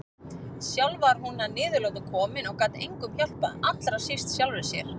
Sjálf var hún að niðurlotum komin og gat engum hjálpað, allra síst sjálfri sér.